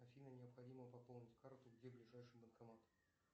афина необходимо пополнить карту где ближайший банкомат